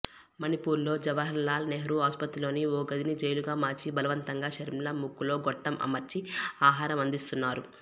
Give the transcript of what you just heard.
మణిపూర్లో జవహార్లాల్ నెహ్రూ ఆస్పత్రిలోని ఓ గదిని జైలుగా మార్చి బలవంతంగా షర్మిల ముక్కులో గొట్టం అమర్చి ఆహారం అందిస్తున్నారు